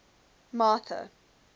martha